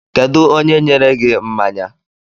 Kedu onye nyere gi mmanya?